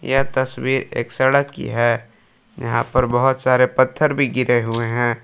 यह तस्वीर एक सड़क की है यहां पर बहुत सारे पत्थर भी गिरे हुए हैं।